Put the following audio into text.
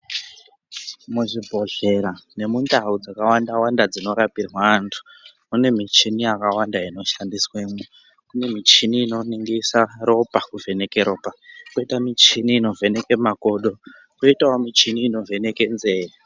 Muzvibhedhlera nemundau dzakawanda wanda dzinorapirwe antu kune michini yakawanda inoshandiswemwo kune michini inoningirisa ropa kuvheneke ropa kwoita muchini inovheneke makodo kwoitawo muchini inovheneke nzee.